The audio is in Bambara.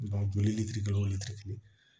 joli litiri kelen o litiri kelen